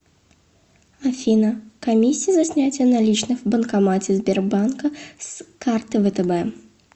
афина комиссия за снятие наличных в банкомате сбербанка с карты втб